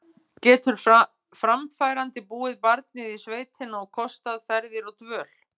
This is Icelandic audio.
Getur framfærandi búið barnið í sveitina og kostað ferðir og dvöl?